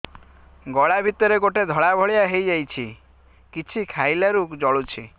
ଗଳା ଭିତରେ ଗୋଟେ ଧଳା ଭଳିଆ ହେଇ ଯାଇଛି କିଛି ଖାଇଲାରୁ ଜଳୁଛି